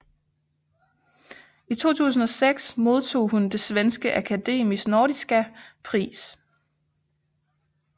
I 2006 modtog hun Det Svenske Akademis Nordiska Pris